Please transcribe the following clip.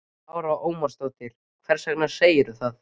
Lára Ómarsdóttir: Hvers vegna segirðu það?